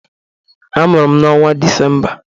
Amụrụ m n'onwa Disemba.